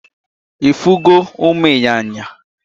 Ifun go umu inyanya?